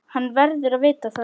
Hann verður að vita það.